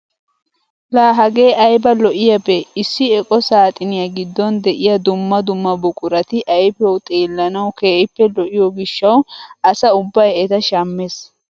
La hagee ayba lo"iyaabee! issi eqo saaxiniyaa giddon de'iyaa dumma dumma buqurati ayfiyawu xeellanawu keehippe lo"iyoo gishshawu asa ubbay eta shammees!